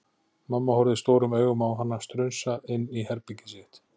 Mamma horfði stórum augum á hana strunsa inn í herbergið sitt.